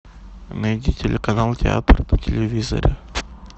найди телеканал театр на телевизоре